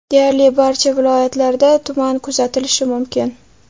Deyarli barcha viloyatlarda tuman kuzatilishi mumkin.